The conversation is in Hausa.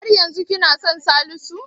Har yanzu kina son Salisu?